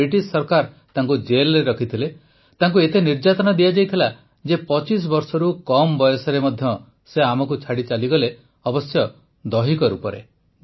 British ସରକାର ତାଙ୍କୁ ଜେଲରେ ରଖିଥିଲେ ତାଙ୍କୁ ଏତେ ନିର୍ଯାତନା ଦିଆଯାଇଥିଲା ଯେ ୨୫ ବର୍ଷରୁ ମଧ୍ୟ କମ୍ ବୟସରେ ସେ ଆମକୁ ଛାଡ଼ି ଚାଲିଗଲେ ଅବଶ୍ୟ ଦୈହିକ ରୂପେ